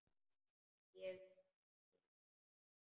En ég skek mig.